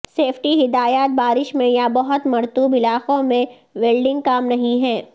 safety ہدایات بارش میں یا بہت مرطوب علاقوں میں ویلڈنگ کام نہیں ہے